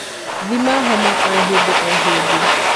Thima homa o hĩndĩo hĩndĩ.